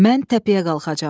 Mən təpəyə qalxacam.